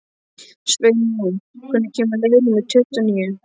Sveinjón, hvenær kemur leið númer tuttugu og níu?